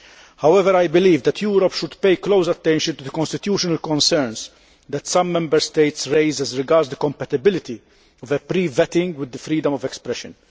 However, I believe that Europe should play close attention to the constitutional concerns that some Member States raise as regards the compatibility of pre vetting with freedom of expression.